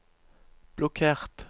blokkert